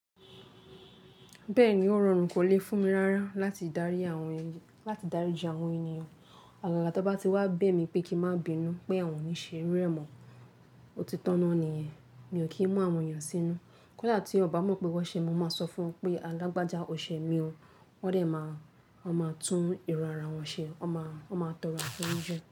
Bẹ́ẹ̀ni ó rọrùn kò lè fún mi rárá láti darí àwọn ènìyàn, láti darí isé àwọn ènìyàn. Àgàgà tí ó bá ti wá bẹ̀ mí pé kí n má bínú pé àwọn ò ní ṣe rí rẹ̀ mọ́, ó ti tọ̀nà nìyẹn. Mi ò kí ń mú àwọn èyàn sínú. Kódà tí ọ̀bá mọ̀ pé wọ́n ṣe, mo máa sọ fún pé a làgbàja ò ṣe mí o, wọ́n dè máa, wọ́n máa tún èrò ara wọn ṣe, wọ́n máa, wọ́n máa tọrọ àforíjì.